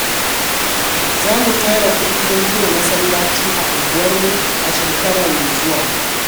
Za mu tara kudi don gina masallaci a unguwarmu a shekara mai zuwa.